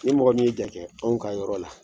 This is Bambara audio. I mɔgɔ min jate anw ka yɔrɔ la